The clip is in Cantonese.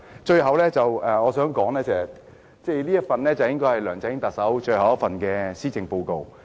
最後，我想談的是，這份應該是特首梁振英最後一份施政報告。